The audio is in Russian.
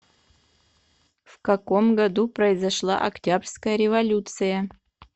в каком году произошла октябрьская революция